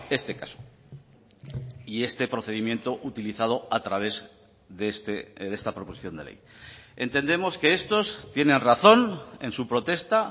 este caso y este procedimiento utilizado a través de esta proposición de ley entendemos que estos tienen razón en su protesta